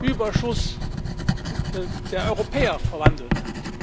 Überschuss für die Europäer verwandelt hat.